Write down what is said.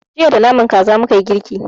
Jiya da naman kaza mukayi girki.